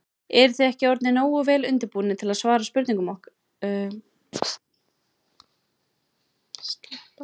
Eruð þið ekki orðnir nógu vel undirbúnir til að svara okkar spurningum?